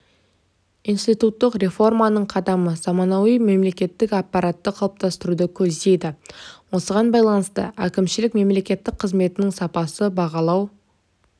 институттық реформаның қадамы заманауи мемлекеттік аппаратты қалыптастыруды көздейді осыған байланысты әкімшілік мемлекеттік қызметтің сапасын бағалау